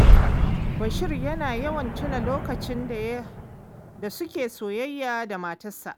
Bashir yana yawan tuna lokacin da suke soyayya da matarsa